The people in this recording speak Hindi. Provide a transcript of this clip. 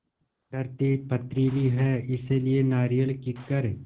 धरती पथरीली है इसलिए नारियल कीकर